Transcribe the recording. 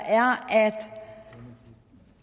er at